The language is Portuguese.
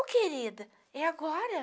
Ô, querida, é agora?